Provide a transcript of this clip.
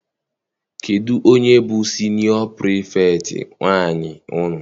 Kedụ onye bụ siniọ Pirifetktị nwaanyị unu?